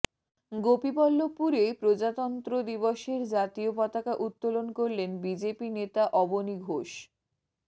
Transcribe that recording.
গোপীবল্লভপুরে প্রজাতন্ত্র দিবসের জাতীয় পতাকা উত্তোলন করলেন বিজেপি নেতা অবনী ঘোষ